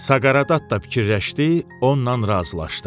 Saqareddatta fikirləşdi, onunla razılaşdı.